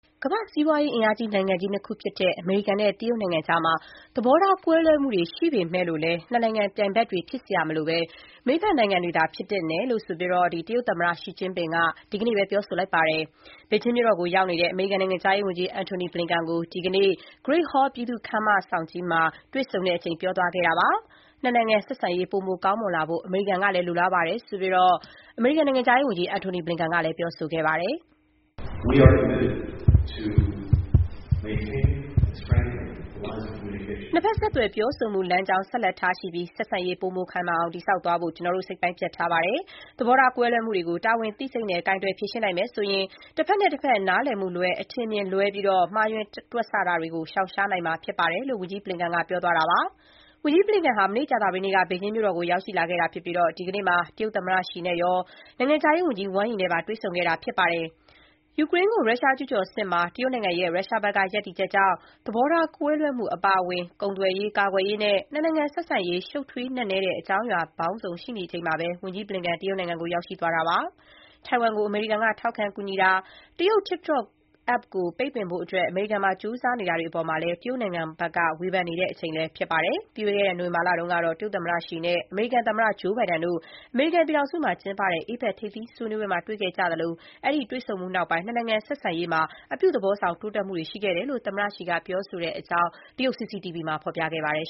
ကမ္ဘာ့စီးပွား အင်အားအကြီးဆုံး နိုင်ငံကြီး ၂ ခုဖြစ်တဲ့ အမေရိကန်နဲ့ တရုတ်ကြား ဆက်ဆံရေးမှာ သဘောထား ကွဲလွဲတာတွေရှိပေမဲ့လို့ နှစ်နိုင်ငံ ပြိုင်ဘက်တွေ ဖြစ်စရာမလိုဘဲ လက်တွဲဖက်နိုင်ငံတွေသာ ဖြစ်သင့်တယ်လို့ တရုတ်သမ္မတ Xi Jinping က ဒီကနေ့ ပြောဆိုလိုက်ပါတယ်။ ဘေဂျင်းမြို့တော်ကို ရောက်နေတဲ့ အမေရိကန်နိုင်ငံခြားရေးဝန်ကြီး Antony Blinken ကို ဒီကနေ့ Great Hall ပြည်သူ့ခန်းမကြီးမှာ တွေ့ဆုံချိန် ပြောသွားတာပါ။ နှစ်နိုင်ငံဆက်ဆံရေး ပိုမို ကောင်းမွန်လာဖို့ အမေရိကန်ကလည်း လိုလားကြောင်းကိုတော့ နိုင်ငံခြားရေးဝန်ကြီး Blinken က ခုလို ပြောဆိုသွားပါတယ်။ "နှစ်ဘက် ဆက်သွယ်ပြောဆိုမှု လမ်းကြောင်း ဆက်လက် ထားရှိပြီး ဆက်ဆံရေး ပိုမို ခိုင်မာအောင် တည်ဆောက်သွားဖို့ ကျနော်တို့ စိတ်ပိုင်းဖြတ် ထားပါတယ်။ သဘောထား ကွဲလွဲမှုတွေကို တာဝန်သိစိတ်နဲ့ ကိုင်တွယ် ဖြေရှင်းနိုင်မယ်ဆိုရင် တဘက်နဲ့တဘက် နားလည်မှုလွဲ၊ အထင်အမြင် လွဲပြီး မှားယွင်းတွက်ဆ တာတွေကို ရှောင်ရှားနိုင်မှာ ဖြစ်ပါတယ်။” − လို့ ဝန်ကြီး Blinken က ပြောသွားတာပါ။ ဝန်ကြီး ဘလင်ကန်ဟာ မနေ့ ကြာသပတေးနေ့က ဘေဂျင်းမြို့ကို ရောက်ရှိလာခဲ့တာ ဖြစ်ပြီး ဒီကနေ့မှာ တရုတ်သမ္မတ ရှီကျင့်ဖျင် အပြင် နိုင်ငံခြားရေးဝန်ကြီး Wang Yi နဲ့ပါ တွေ့ဆုံခဲ့ပါတယ်။ ယူကရိန်းကို ရုရှား ကျုးကျော်စစ်မှာ တရုတ်နိုင်ငံရဲ့ ရုရှားဘက်က ရပ်တည်ချက်ကြောင့် သဘောထား ကွဲလွဲမှု အပါအဝင် ကုန်သွယ်ရေး၊ ကာကွယ်ရေးနဲ့ နှစ်နိုင်ငံဆက်ဆံရေး ရှုပ်ထွေး နက်နဲတဲ့ အကြောင်းအရာ ပေါင်းစုံ ရှိနေချိန်မှာ ဝန်ကြီး Blinken တရုတ်နိုင်ငံကို သွားရောက်တာပါ။ ထိုင်ဝမ်ကို အမေရိကန်ပြည်ထောင်စုက ထောက်ခံ ကူညီတာ၊ တရုတ် TikTok App ကို ပိတ်ပင်ဖို့ ကြိုးစားတာတွေ အပေါ်မှာလည်း တရုတ်နိုင်ငံဘက်က ဝေဖန် နေချိန်လည်း ဖြစ်ပါတယ်။ ပြီးခဲ့တဲ့နှစ် နိုဝင်ဘာလတုန်းကတော့ တရုတ်သမ္မတ ရှီ နဲ့ အမေရိကန်သမ္မတ ဂျိုးဘိုင်ဒန် တို့ အမေရိကန်ပြည်ထောင်စုမှာ ကျင်းပတဲ့ APEC ထိပ်သီး စည်းဝေးမှာ တွေ့ဆုံခဲ့ကြသလို၊ အဲ့ဒီ တွေ့ဆုံမှုနောက်ပိုင်း နှစ်နိုင်ငံ ဆက်ဆံရေးမှာ အပြုသဘောဆောင် တိုးတက်မှုတွေ ရှိခဲ့တယ်လို့ သမ္မတ ရှီက ပြောဆိုခဲ့တဲ့အကြောင်း တရုတ် CCTV သတင်းက ဖော်ပြပါတယ်